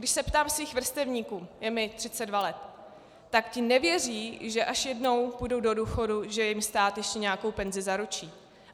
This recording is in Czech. Když se ptám svých vrstevníků, je mi 32 let, tak ti nevěří, že až jednou půjdou do důchodu, že jim stát ještě nějakou penzi zaručí.